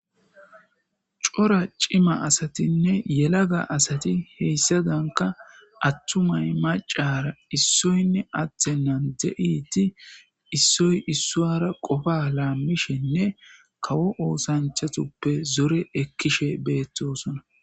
Cora cima asatinne yelaga asati heyssadanka attumay macara issoynne attennan de'iti issoy issuara qofa laammishenne kawo oosanchatuppe zore ekkishe beettosona.